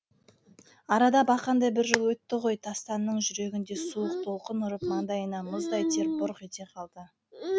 арада бақандай бір жыл өтті ғой тастанның жүрегін суық толқын ұрып маңдайынан мұздай тер бұрқ ете қалды